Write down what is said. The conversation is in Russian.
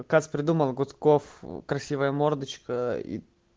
кац придумал гудков красивая мордочка и